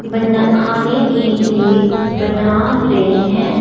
बना खाने के लिए बना रहे है।